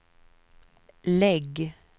lägg